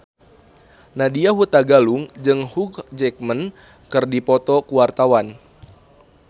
Nadya Hutagalung jeung Hugh Jackman keur dipoto ku wartawan